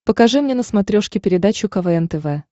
покажи мне на смотрешке передачу квн тв